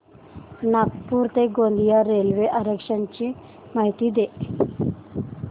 नागपूर ते गोंदिया रेल्वे आरक्षण ची माहिती दे